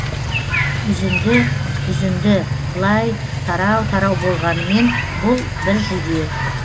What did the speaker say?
үзінді үзінді былай тарау тарау болғанымен бұл бір жүйе